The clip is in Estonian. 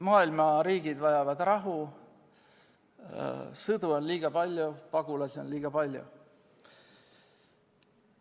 Maailma riigid vajavad rahu, sõdu on liiga palju, pagulasi on liiga palju.